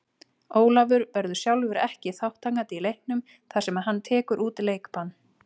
Ólafur verður sjálfur ekki þátttakandi í leiknum þar sem hann tekur út leikbann.